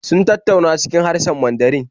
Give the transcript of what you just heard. Sun tattauna cikin harshen Mandarin